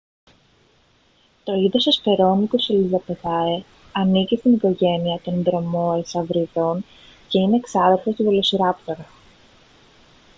το είδος hesperonychus elizabethae ανήκει στην οικογένεια των δρομεοσαυριδών και είναι ξάδερφος του βελοσιράπτορα